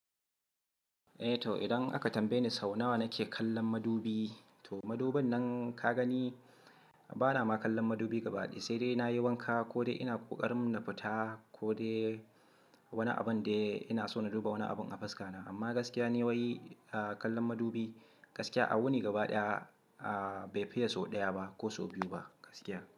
Eh to idan aka tambaye ni sau nawa nake kallon madubi, to madubin nan ka gani bana ma kallon madubi gabaɗaya, sai dai nayi wanka, ko ina ƙoƙarin na fita, ko de wani abun dai ina so na duba wani abun a fuskana. Amma gaskiya ni wai kallon madubi gaskiya a wuni gabaɗaya bai fiye sau ɗaya ba ko sau biyu ba gaskiya.